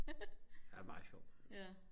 han er meget sjov